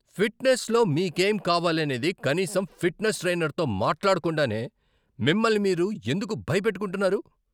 ఫిట్నెస్లో మీకేం కావాలనేది కనీసం ఫిట్నెస్ ట్రైనర్తో మాట్లాడకుండానే మిమ్మల్ని మీరు ఎందుకు భయపెట్టుకుంటున్నారు?